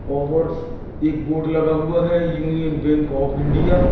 और एक बोर्ड लगा हुआ है यूनियन बैंक ऑफ इंडिया ।